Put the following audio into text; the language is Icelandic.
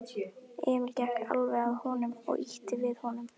Emil gekk alveg að honum og ýtti við honum.